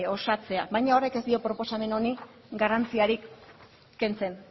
osatzea baina horrek ez dio proposamen honi garrantzirik kentzen